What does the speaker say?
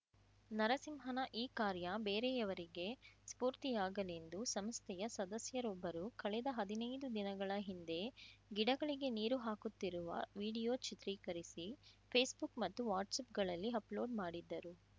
ನರಸಿಂಹನ ಈ ಕಾರ್ಯ ಬೇರೆಯವರಿಗೆ ಸ್ಫೂರ್ತಿಯಾಗಲೆಂದು ಸಂಸ್ಥೆಯ ಸದಸ್ಯರೊಬ್ಬರು ಕಳೆದ ಹದಿನೈದು ದಿನಗಳ ಹಿಂದೆ ಗಿಡಗಳಿಗೆ ನೀರು ಹಾಕುತ್ತಿರುವ ವಿಡಿಯೋ ಚಿತ್ರೀಕರಿಸಿ ಫೇಸ್ಬುಕ್‌ ಮತ್ತು ವಾಟ್ಸಪ್‌ಗಳಲ್ಲಿ ಅಪಲೋಡ್‌ ಮಾಡಿದ್ದರು